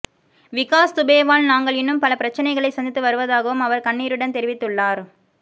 விகாஷ் துபேவால் நாங்கள் இன்னும் பல பிரச்சனைகளை சந்தித்து வருவதாகவும் அவர் கண்ணீருடன் தெரிவித்துள்ளார்